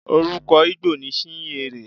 Orúkọ Igbo ni Chinyere.